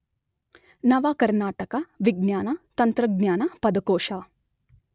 ನವಕರ್ನಾಟಕ ವಿಜ್ಞಾನ-ತಂತ್ರಜ್ಞಾನ ಪದಕೋಶ.